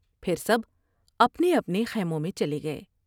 پھر سب اپنے اپنے خیموں میں چلے گئے ۔